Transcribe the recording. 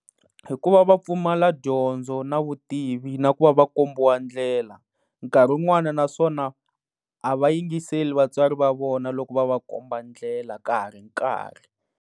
Hikuva va pfumala dyondzo na vutivi na ku va va kombiwa ndlela, nkarhi un'wana naswona a va yingiseli vatswari va vona loko va va komba ndlela ka ha ri nkarhi.